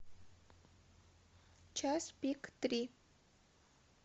час пик три